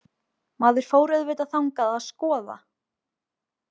Maður fór auðvitað þangað að skoða.